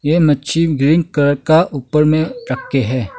ये मच्छी green colour का ऊपर में रख के है।